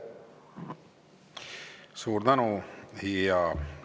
Suur tänu!